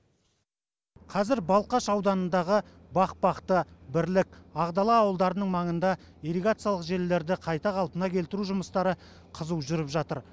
қазір балқаш ауданындағы бақбақты бірлік ақдала ауылдарының маңында ирригациялық желілерді қайта қалпына келтіру жұмыстары қызу жүріп жатыр